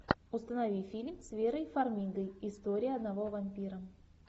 установи фильм с верой фармигой история одного вампира